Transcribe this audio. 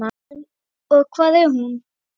Og hvar er hún?